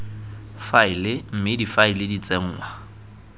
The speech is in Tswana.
faele mme difaele di tsenngwa